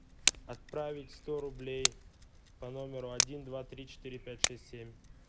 отправить сто рублей по номеру один два три четыре пять шесть семь